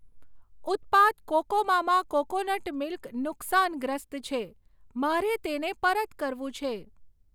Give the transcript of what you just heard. ઉત્પાદ કોકોમામા coconut milk નુકસાનગ્રસ્ત છે, મારે તેને પરત કરવું છે.